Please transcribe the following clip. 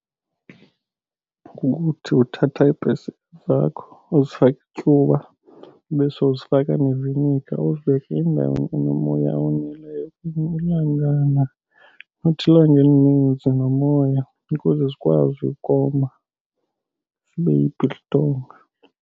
Kukuthi uthatha iipesika zakho uzifake ityuwa, ube sowuzifaka neviniga uzibeke endaweni enomoya owoneleyo okanye ilangana, not ilanga elininzi nomoya, ukuze zikwazi ukoma zibe yi-biltong.